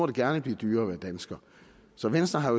det gerne blive dyrere at være dansker så venstre har